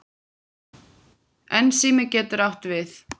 Ensími getur átt við